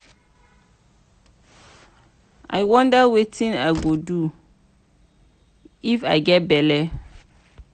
i wonder wetin i go do if i get bele.